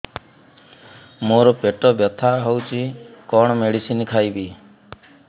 ମୋର ପେଟ ବ୍ୟଥା ହଉଚି କଣ ମେଡିସିନ ଖାଇବି